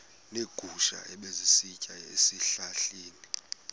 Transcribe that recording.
neegusha ebezisitya ezihlahleni